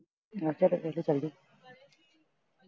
ਪੇਕੇ ਚਲੀ ਗਈ